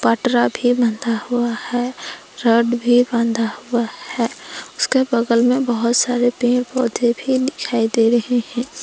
भी बांधा हुआ है रॉड भी बांधा हुआ है उसके बगल में बहुत सारे पेड़ पौधे भी दिखाई दे रहे हैं।